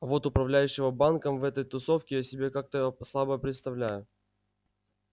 вот управляющего банком в этой тусовке я себе как-то слабо представляю